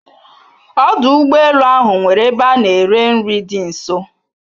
Ọdụ ụgbọ elu ahụ nwere ebe a na-ere nri dị nso